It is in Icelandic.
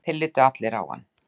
Þeir litu allir á hann.